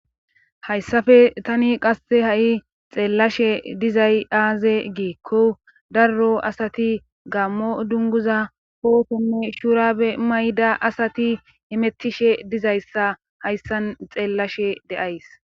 Haysafe tani qasse ha'i xeellashe dizay aaze giekko darro asati gammo dunguza pootonne shuurabe mayda asati emettishe dizayssa hayssan xeellashe de'ays.